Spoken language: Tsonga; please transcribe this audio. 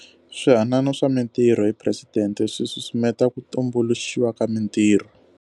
Swihanano swa Mitirho hi Presidente swi susumeta ku tumbuluxiwa ka mitirho.